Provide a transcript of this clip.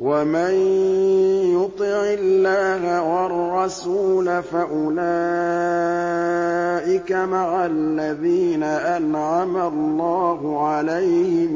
وَمَن يُطِعِ اللَّهَ وَالرَّسُولَ فَأُولَٰئِكَ مَعَ الَّذِينَ أَنْعَمَ اللَّهُ عَلَيْهِم